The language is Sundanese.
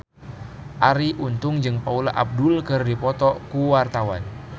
Arie Untung jeung Paula Abdul keur dipoto ku wartawan